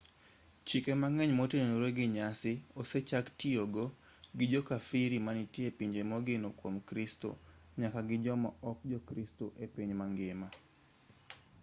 chike mang'eny motenore gi nyasi osechaktiyogo gi jo kafiri manitie e pinje mogeno kwom kristo nyaka gi joma ok jokristo e piny mangima